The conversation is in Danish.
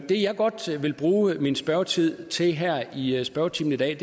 det jeg godt vil bruge min spørgetid til her i i spørgetimen i dag